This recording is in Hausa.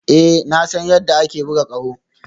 Ee na san yadda ake buga ƙaho